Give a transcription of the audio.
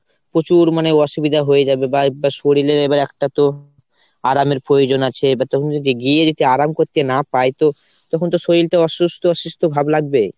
প্রচুর মানে অসুবিধা হয়ে যাবে। শরীরের এবার একটা তো আরামের প্রয়োজন আছে তখন যদি গিয়ে যদি আরাম করতে না পাই তো তখন তো শরীল তো অসুস্থ অসুস্থ ভাব লাগবে।